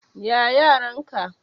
Ya yaran ka?